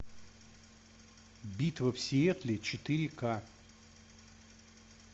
битва в сиэтле четыре ка